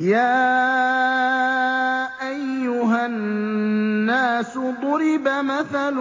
يَا أَيُّهَا النَّاسُ ضُرِبَ مَثَلٌ